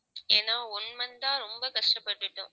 ஏன்னா one month ஆ ரொம்ப கஷ்டப்பட்டுட்டோம்.